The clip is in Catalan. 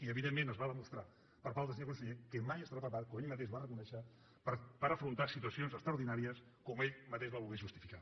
i evidentment es va demostrar per part del senyor conseller que mai estarà preparat com ell mateix va reconèixer per afrontar situacions extraordinàries com ell mateix va voler justificar